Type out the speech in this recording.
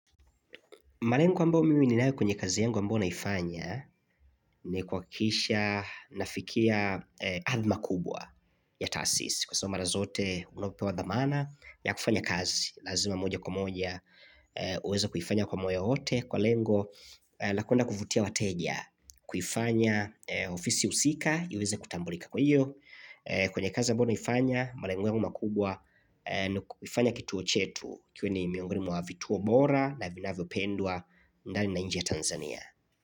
Malengo ambayo mimi ninayo kwenye kazi yangu ambayo naifanya ni kuhakikisha nafikia adhma kubwa ya taasisi Kwa sababu mara zote unapopewa dhamana ya kufanya kazi lazima moja kwa moja uweze kuifanya kwa moyo wote Kwa lengo na kwenda kuvutia wateja kuifanya ofisi husika iweza kutambulika kwa hiyo kwenye kazi ambayo naifanya malengo yangu makubwa ni kufanya kituo chetu kiwe ni miongoni mwa vituo bora na vinavyo pendwa ndani na nje ya Tanzania.